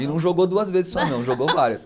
E não jogou duas vezes só não, jogou várias.